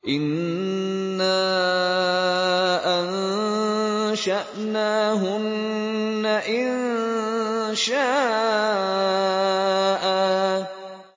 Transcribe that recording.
إِنَّا أَنشَأْنَاهُنَّ إِنشَاءً